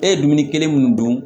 E ye dumuni kelen mun dun